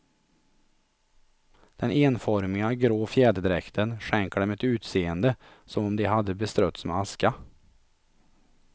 Den enformiga, grå fjäderdräkten skänker dem ett utseende som om de hade beströtts med aska.